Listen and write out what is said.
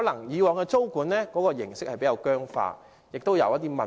以往的租管形式可能比較僵化，亦存在一些問題。